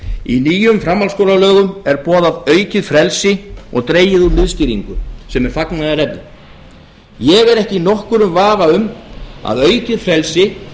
í nýjum framhaldsskólalögum er boðað aukið frelsi og dregið úr miðstýringu sem er fagnaðarefni ég er ekki í nokkrum vafa um að aukið frelsi